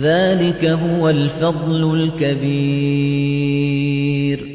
ذَٰلِكَ هُوَ الْفَضْلُ الْكَبِيرُ